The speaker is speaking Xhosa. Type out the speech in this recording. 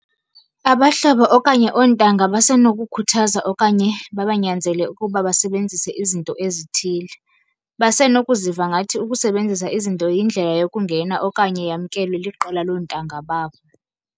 Abahlobo okanye oontanga basenokukhuthaza okanye babanyanzele ukuba basebenzise izinto ezithile. Basenokuziva ngathi ukusebenzisa izinto yindlela yokungena okanye yamkelwe liqela lontanga babo.